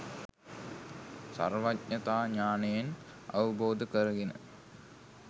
සර්වඥතා ඥානයෙන් අවබෝධ කරගෙන